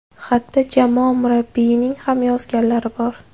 Xatda jamoa murabbiyining ham yozganlari bor.